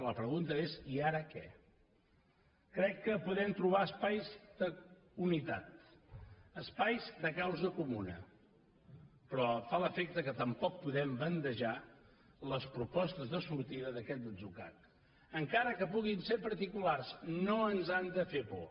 la pregunta és i ara què crec que podem trobar espais d’unitat espais de causa comuna però em fa l’efecte que tampoc podem bandejar les propostes de sortida d’aquest atzucac encara que puguin ser particulars no ens han de fer por